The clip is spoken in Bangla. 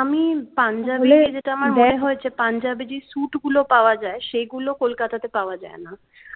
আমি punjab যেটা আমার মনে হয়েছে পাঞ্জাবে যে স্যুটগুলো পাওয়া যায় সেগুলো kolkata পাওয়া যায় না